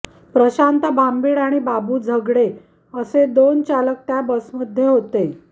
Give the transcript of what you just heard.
प्रशांत भांबीड आणि बाबू झगडे असे दोन चालक त्या बसमध्ये होते